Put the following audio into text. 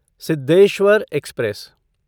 Siddheshwar express